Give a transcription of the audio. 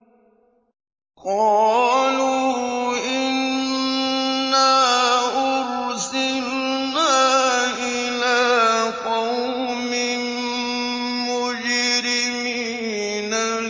قَالُوا إِنَّا أُرْسِلْنَا إِلَىٰ قَوْمٍ مُّجْرِمِينَ